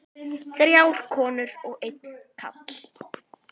Þrjár konur og einn karl.